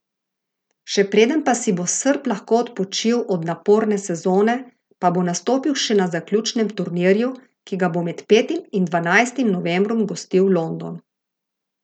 Še preden pa si bo Srb lahko odpočil od naporne sezone, pa bo nastopil še na zaključnem turnirju, ki ga bo med petim in dvanajstim novembrom gostil London.